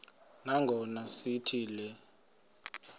nangona sithi le